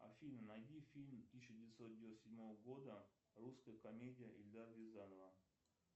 афина найди фильм тысяча девятьсот девяносто седьмого года русская комедия эльдара рязанова